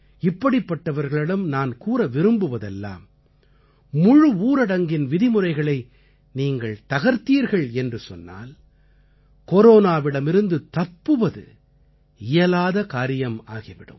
இப்படிப்பட்டவர்களிடம் நான் கூற விரும்புவதெல்லாம் முழு ஊரடங்கின் விதிமுறைகளை நீங்கள் தகர்த்தீர்கள் என்று சொன்னால் கொரோனாவிடமிருந்து தப்புவது இயலாத காரியமாகி விடும்